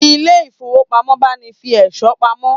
Ilé ifówópamọ́ ń báni fi ẹ̀ṣọ́ pamọ́